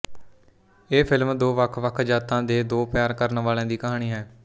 ਇਹ ਫ਼ਿਲਮ ਦੋ ਵੱਖਵੱਖ ਜ਼ਾਤਾਂ ਦੇ ਦੋ ਪਿਆਰ ਕਰਨ ਵਾਲ਼ਿਆਂ ਦੀ ਕਹਾਣੀ ਹੈ